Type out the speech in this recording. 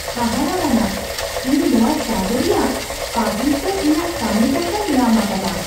ᱦᱟᱦᱟᱲᱟᱣᱟᱱᱟᱜ ! ᱤᱧ ᱱᱚᱣᱟ ᱪᱟᱸᱫᱚ ᱨᱮᱭᱟᱜ ᱯᱟᱹᱦᱤᱞ ᱥᱮᱡ ᱤᱧᱟᱜ ᱠᱟᱹᱢᱤ ᱴᱟᱠᱟᱧ ᱧᱟᱢ ᱟᱠᱟᱫᱟ !